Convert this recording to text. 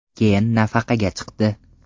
Keyin nafaqaga chiqdi.